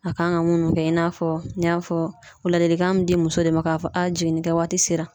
A kan ka munni kɛ i n'a fɔ n y'a fɔ o ladilikan bɛ di muso de ma k'a fɔ jiginnikɛ waati sera.